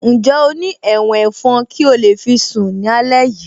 Ǹjẹ́ o ní ẹ̀wọ̀n ẹ̀fọn kí o lè fi sún alẹ́ yìí